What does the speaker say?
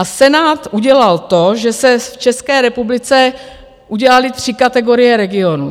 A Senát udělal to, že se v České republice udělaly tři kategorie regionů.